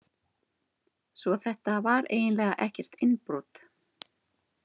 Svo þetta var eiginlega ekkert innbrot.